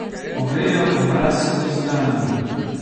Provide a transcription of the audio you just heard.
Ovejev obraz se ni zganil.